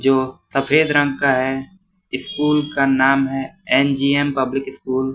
जो सफेद रंग का है स्कूल का नाम है एन_जी_एम पब्लिक स्कूल ।